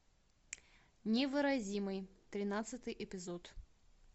невыразимый тринадцатый эпизод